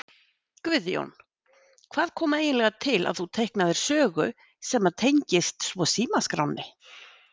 Guðjón: Hvað kom eiginlega til að þú teiknaðir sögu sem að tengist svo Símaskránni?